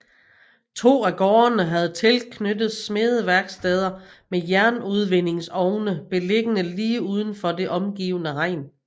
To af gårdene havde tilknyttet smedeværksteder med jernudvindingsovne beliggende lige uden for det omgivende hegn